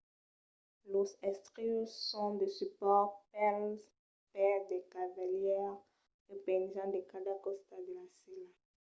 los estrius son de supòrts pels pès del cavalièr que penjan de cada costat de la sèla